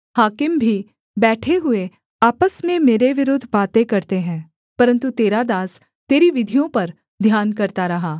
हाकिम भी बैठे हुए आपस में मेरे विरुद्ध बातें करते थे परन्तु तेरा दास तेरी विधियों पर ध्यान करता रहा